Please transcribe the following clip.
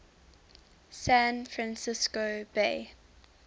san francisco bay